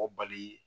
O bali